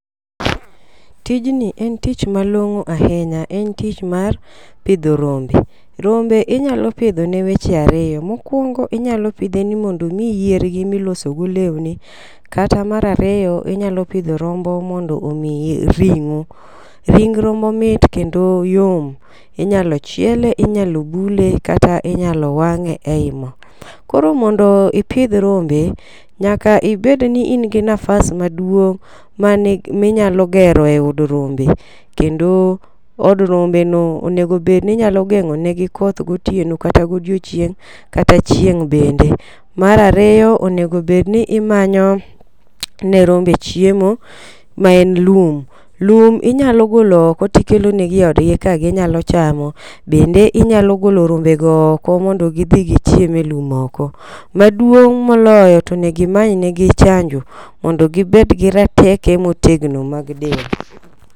Tijni en tich malong'o hinya en tich mar pidho rombe rombe inyalo pidho ne weche ariyo. Mokwongo inyalo pidhe ni mondo omiyi yiergi miloso go lweni kata mar ariyo inyalo pidho rombo mondo omiyi ring'o. Ring rombo mit kendo yor. Inyalo chiele ,inyalo bule kata inyalo wang'e ei moo. Koro mondo ipidh rombe, nyaka ibed ni in gi nafas maduong' mani minyalo gero e od rombe kendo od rombe no onego bed ni nyalo geng'o ne gi koth gotieno kata godiochieng' kata chieng' bende . Mar ariyo onego bed ni imanyo ne rombe chiemo ma en lum ,lum inyalo golo oko tikelo ne gi oed gi ka ginyalo chamo .Bende inyalo golo rombe go oko mondo gidhi gichiem e lum oko .Maduong' moloyo tonegi imany negi chanjo mondo gibed gi rateke motegno mag del.